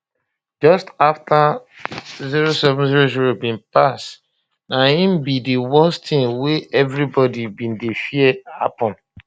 just afta 0700 bin pass na im be di worst tin wey evribodi bin dey fear happun